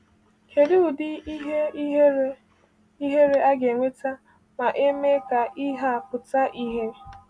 Kedụ ụdị ihe ihere ihere a ga-enweta ma e mee ka ihe a pụta ìhè!